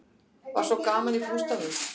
Var svona gaman í bústaðnum?